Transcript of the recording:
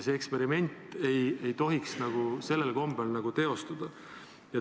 See eksperiment ei tohiks sellel kombel teostuda.